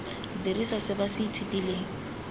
dirisa se ba se ithutileng